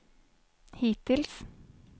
hittills